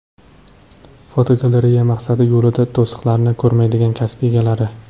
Fotogalereya: Maqsadi yo‘lida to‘siqlarni ko‘rmaydigan kasb egalari.